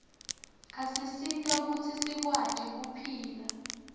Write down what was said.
asisita kutsi sikwati kuphila